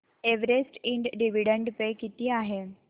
Everest and dividend pay किती आहे